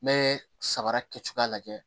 N bɛ sabara kɛ cogoya lajɛ